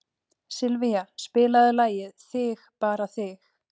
Sylvía, spilaðu lagið „Þig bara þig“.